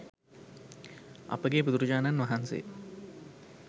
අපගේ බුදුරජාණන් වහන්සේ